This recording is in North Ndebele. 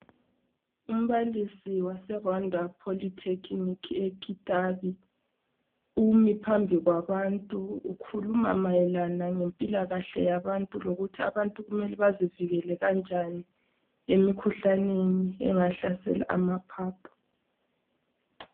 Umbalisi wase Rwanda Poly Clinic e-Kitabi umi phambi kwabantu. Ukhuluma ngempilakahle yabantu, ukhuluma ngokuthi abantu kumele bazivikele kanjani emikhuhlaneni engahlasela amaphaphu.